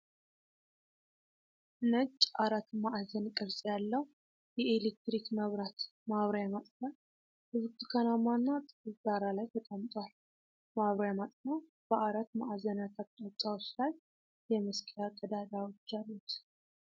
ነጭ፣ አራት ማዕዘን ቅርጽ ያለው የኤሌክትሪክ መብራት ማብሪያ/ማጥፊያ በብርቱካናማና ጥቁር ዳራ ላይ ተቀምጧል። ማብሪያ/ማጥፊያው በአራት ማዕዘናት አቅጣጫዎች ላይ የመሰቀያ ቀዳዳዎች አሉት።